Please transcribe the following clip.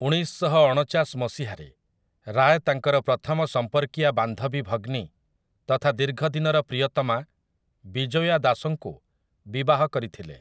ଉଣେଇଶଶହଅଣଚାଶ ମସିହାରେ, ରାୟ ତାଙ୍କର ପ୍ରଥମ ସମ୍ପର୍କୀୟା ବାନ୍ଧବୀ ଭଗ୍ନୀ ତଥା ଦୀର୍ଘ ଦିନର ପ୍ରିୟତମା ବିଜୋୟା ଦାସଙ୍କୁ ବିବାହ କରିଥିଲେ ।